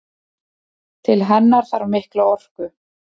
Til hennar þarf mikla orku.